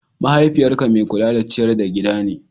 Mahaifiyyarka mai kula da ciyar da gida ne?